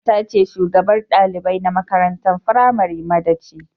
Kanwata ce shugabar dalibai na mata firamari madaci.